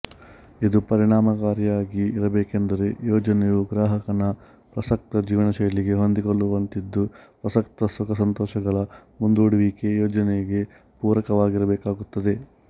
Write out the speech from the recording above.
ಇದು ಪರಿಣಾಮಕಾರಿಯಾಗಿ ಇರಬೇಕೆಂದರೆ ಯೋಜನೆಯು ಗ್ರಾಹಕನ ಪ್ರಸಕ್ತ ಜೀವನಶೈಲಿಗೆ ಹೊಂದಿಕೊಳ್ಳುವಂತಿದ್ದು ಪ್ರಸಕ್ತ ಸುಖಸಂತೋಷಗಳ ಮುಂದೂಡುವಿಕೆ ಯೋಜನೆಗೆ ಪೂರಕವಾಗಿರಬೇಕಾಗುತ್ತದೆ